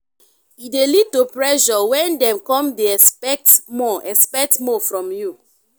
e de lead to pressure when dem come de except more except more from you